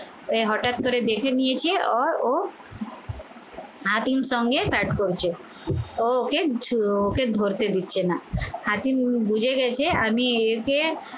এই হঠাৎ করে দেখে নিয়েছে আর ও হাতিম সঙ্গে ব্যাট করছে ও ওকে ওকে ধরতে দিচ্ছে না। হাতিম বুঝে গেছে আমি এতে